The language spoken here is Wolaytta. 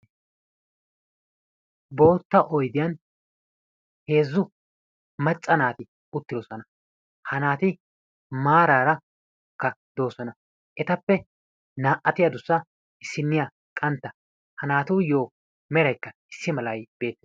Boottaa oydiyan heezzu macca naati uttidoosona, ha naati maaraaraka doosona ettappe naa"ati addussa issiniya qantta ha naatuyo meraykka issi malay bee...